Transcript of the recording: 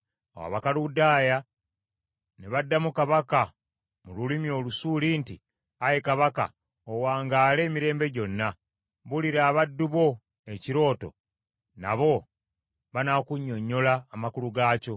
Awo Abakaludaaya ne baddamu kabaka mu lulimi Olusuuli nti, “Ayi kabaka, owangaale emirembe gyonna! Buulira abaddu bo ekirooto, nabo banaakunnyonnyola amakulu gaakyo.”